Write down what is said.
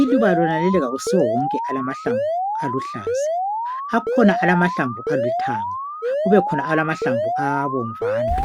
Iluba lonaleli ayisiwowonke elilamahlamvu aluhlaza. Akhona alamahlamvu alithanga kubekhona alamahlamvu abomvana.